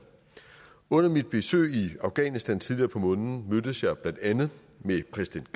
under mit besøg i afghanistan tidligere på måneden mødtes jeg blandt andet med præsident